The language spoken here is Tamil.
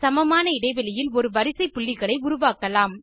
சமமான இடைவெளியில் ஒரு வரிசை புள்ளிகளை உருவாக்கலாம்